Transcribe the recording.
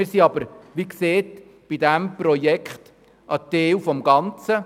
Wir sind aber, wie gesagt, bei diesem Projekt ein Teil des Ganzen.